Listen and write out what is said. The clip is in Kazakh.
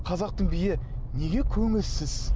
қазақтың биі неге көңілсіз